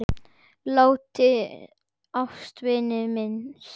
Látinna ástvina minnst.